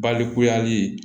Balikuyali